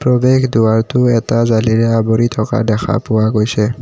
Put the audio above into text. প্ৰৱেশ দুৱাৰটো এটা জালিৰে আৱৰি থকা দেখা পোৱা গৈছে।